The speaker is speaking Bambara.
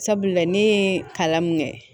Sabula ne ye kalan mun kɛ